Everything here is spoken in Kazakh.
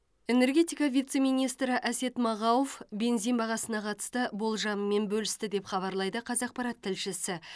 энергетика вице министрі әсет мағауов бензин бағасына қатысты болжамымен бөлісті деп хабарлайды қазақпарат тілшісі